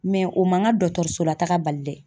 Mɛ o man ka dɔgɔtɔrɔso la taga bali dɛ!